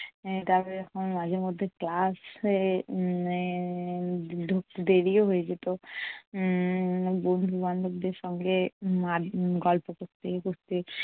এর তারপরে যখন মাঝে মধ্যে class হয়ে উম ঢুকতে দেরিও হয়ে যেত। উম বন্ধু বান্ধবদের সঙ্গে গল্প করতে করতে।